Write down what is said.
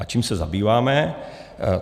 A čím se zabýváme?